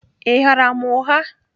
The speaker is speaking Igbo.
Ị ghaara m ụgha?